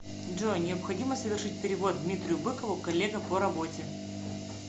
джой необходимо совершить перевод дмитрию быкову коллега по работе